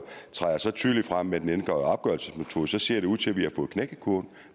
træder så tydeligt frem med den ændrede opgørelsesmetode så ser det ud til at vi har fået knækket kurven